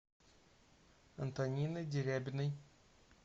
антониной дерябиной